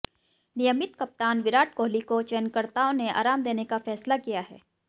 नियमित कप्तान विराट कोहली को चयनकर्ताओं ने आराम देने का फैसला किया है